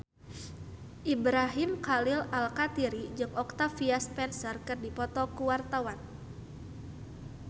Ibrahim Khalil Alkatiri jeung Octavia Spencer keur dipoto ku wartawan